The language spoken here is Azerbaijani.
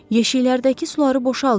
Yeşiklərdəki suları boşaldın.